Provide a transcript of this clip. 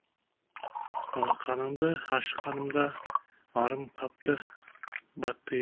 алақанымды ашқанымда арым қапты баттиып